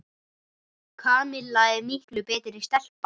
Kamilla er miklu betri stelpa.